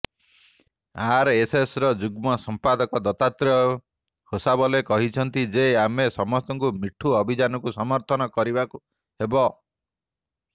ଆରଏସ୍ଏସ୍ର ଯୁଗ୍ମ ସଂପାଦକ ଦତ୍ତାତ୍ରେୟ ହୋସାବଲେ କହିଛନ୍ତି ଯେ ଆମ ସମସ୍ତଙ୍କୁ ମିଠୁ ଅଭିଯାନକୁ ସମର୍ଥନ କରିବାକୁ ହେବ